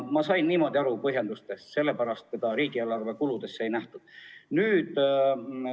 Mina sain niimoodi neist põhjendustest aru, et just selle pärast seda summat riigieelarve kuludes ette ei nähtud.